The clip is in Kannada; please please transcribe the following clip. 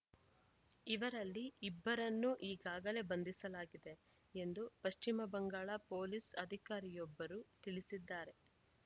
ಇವರಲ್ಲಿ ಇಬ್ಬರನ್ನು ಈಗಾಗಲೇ ಬಂಧಿಸಲಾಗಿದೆ ಎಂದು ಪಶ್ವಿಮ ಬಂಗಾಳ ಪೊಲೀಸ್‌ ಅಧಿಕಾರಿಯೊಬ್ಬರು ತಿಳಿಸಿದ್ದಾರೆ